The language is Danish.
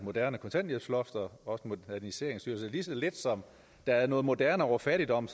moderne kontanthjælpsloft og moderniseringsstyrelsen lige så lidt som der er noget moderne over fattigdom